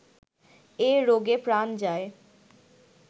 এ রোগে প্রাণ যায়